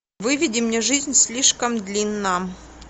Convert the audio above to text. выведи мне жизнь слишком длинна